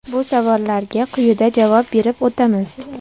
Bu savollarga quyida javob berib o‘tamiz.